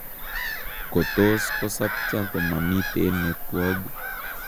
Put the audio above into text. Kotos kosapcha komamiiten netwog